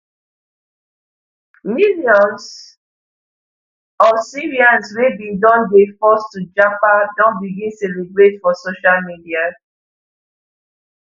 millions of syrians wey bin don dey forced to japa don begin celebrate for social media